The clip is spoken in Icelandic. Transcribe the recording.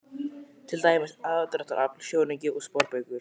Til dæmis: aðdráttarafl, sjónauki og sporbaugur.